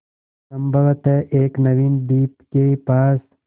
संभवत एक नवीन द्वीप के पास